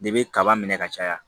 Debi kaba minɛ ka caya